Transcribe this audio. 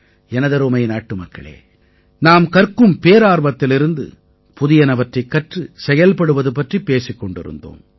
எனதருமை நாட்டுமக்களே நாம் கற்கும் பேரார்வத்திலிருந்து புதியனவற்றைக் கற்று செயல்படுவது பற்றிப் பேசிக் கொண்டிருந்தோம்